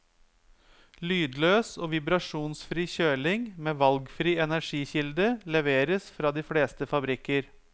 Lydløs og vibrasjonsfri kjøling med valgfri energikilde leveres fra de fleste fabrikker.